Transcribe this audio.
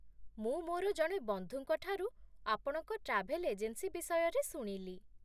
ମୁଁ ମୋର ଜଣେ ବନ୍ଧୁଙ୍କ ଠାରୁ ଆପଣଙ୍କ ଟ୍ରାଭେଲ ଏଜେନ୍ସି ବିଷୟରେ ଶୁଣିଲି।